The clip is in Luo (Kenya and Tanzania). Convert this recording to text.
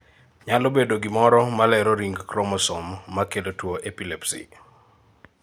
Nyalo bedo gimoro malero ring chromosome makelo tuo epilepsy